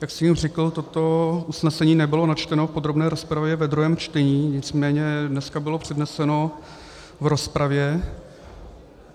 Jak jsem už řekl, toto usnesení nebylo načteno v podrobné rozpravě ve druhém čtení, nicméně dneska bylo předneseno v rozpravě.